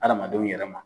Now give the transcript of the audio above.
Adamadenw yɛrɛ ma